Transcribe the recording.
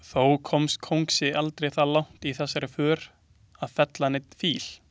Þó komst kóngsi aldrei það langt í þessari för að fella neinn fíl.